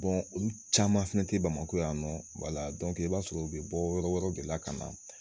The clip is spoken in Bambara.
olu caman fɛnɛ tɛ bamakɔ yan nɔ, wala i b'a sɔrɔ u bɛ bɔ yɔrɔ wɛrɛw de la ka na